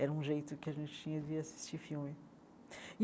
Era um jeito que a gente tinha de assistir filme.